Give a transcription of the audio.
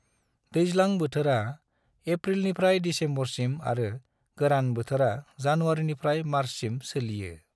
दैज्लां बोथोरा एप्रिलनिफ्राय दिसेम्बरसिम आरो गोरान बोथोरा जानुवारिनिफ्राय मार्चसिम सोलियो।